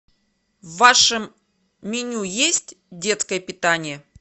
в вашем меню есть детское питание